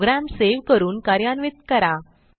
program save करून कार्यान्वित करा